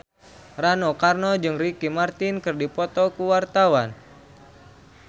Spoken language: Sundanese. Rano Karno jeung Ricky Martin keur dipoto ku wartawan